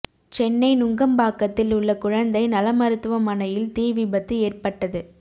சென்னை நுங்கம்பாக்கத்தில் உள்ள குழந்தை நல மருத்துவமனையில் தீ விபத்து ஏற்பட்டது